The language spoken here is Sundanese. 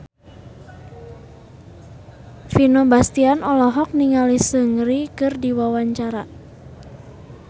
Vino Bastian olohok ningali Seungri keur diwawancara